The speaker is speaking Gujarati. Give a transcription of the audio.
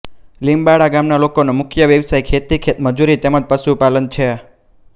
લીમ્બાળા ગામના લોકોનો મુખ્ય વ્યવસાય ખેતી ખેતમજૂરી તેમ જ પશુપાલન છે